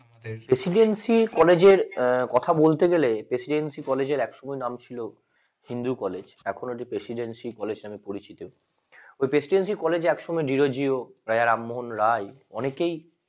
presidency কলেজের আহ কথা বলতে গেলে presidency কলেজের exclusively নাম ছিল হিন্দি কলেজ এখন presidency কলেজ নামে পরিচিত presidency কলেজে এক সময় ডিরোজিও রাজা রামমোহন রায় অনেকেই